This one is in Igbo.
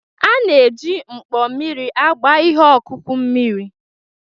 A na-eji mkpo mmiri agba ihe ọkụkụ mmiri.